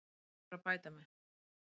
Ég þarf að bæta mig.